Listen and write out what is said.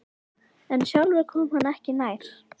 En sjálfur kom hann ekki nær.